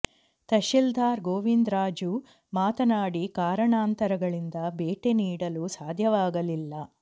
ತಹಶೀಲ್ದಾರ್ ಗೋವಿಂದ ರಾಜು ಮಾತನಾಡಿ ಕಾರಣಾಂತರಗಳಿಂದ ಭೇಟಿ ನೀಡಲು ಸಾಧ್ಯವಾಗಲಿಲ್ಲ